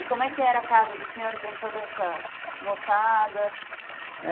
E como é que era a casa do senhor com toda essa moçada?